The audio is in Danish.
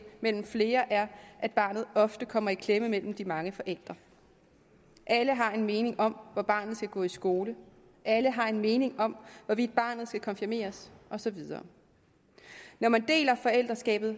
mellem flere er at barnet ofte kommer i klemme mellem de mange forældre alle har en mening om hvor barnet skal gå i skole alle har en mening om hvorvidt barnet skal konfirmeres og så videre når man deler forældreskabet